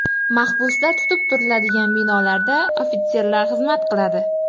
Mahbuslar tutib turiladigan binolarda ofitserlar xizmat qiladi.